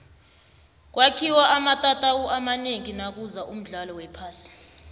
kwakhiwe amatatawu amanengi nakuza umdlalo wephasi